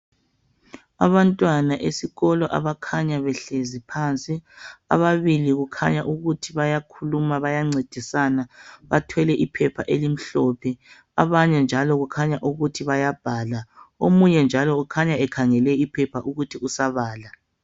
Abantwana esikolo abakhanya behlezi phansi, ababili kukhanya ukuthi bayakhuluma bayancedisana bathwele iphepha elimhlophe. Abanye njalo kukhanya ukuthi bayabhala. Omunye njalo ukhanya ekhangele iphepha okutshengisela ukuthi usabala.